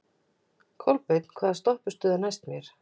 Kolbeinn, hvaða stoppistöð er næst mér?